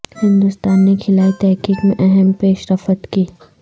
ہندوستان نے خلائی تحقیق میں اہم پیش رفت کی